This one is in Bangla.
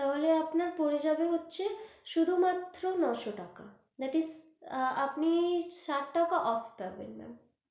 তাহলে আপনার পরে যাবে হচ্ছে শুধু মাত্র নো শো টাকা, that is আআ আপনি ষাট টাকা off পাবেন।